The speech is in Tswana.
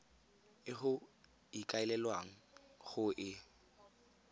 e go ikaelelwang go e